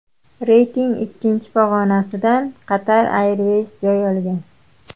Reytingning ikkinchi pog‘onasidan Qatar Airways joy olgan.